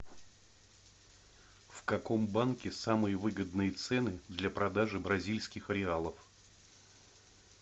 в каком банке самые выгодные цены для продажи бразильских реалов